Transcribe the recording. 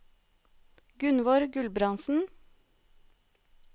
Gunnvor Gulbrandsen